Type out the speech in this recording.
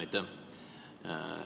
Aitäh!